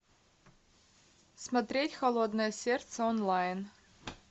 смотреть холодное сердце онлайн